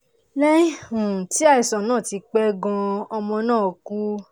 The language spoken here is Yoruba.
lẹ́yìn um tí àìsàn náà ti pẹ́ gan-an ọmọ náà kú